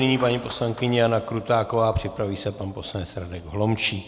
Nyní paní poslankyně Jana Krutáková, připraví se pan poslanec Radek Holomčík.